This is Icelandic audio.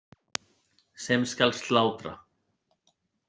Sem skal slátra.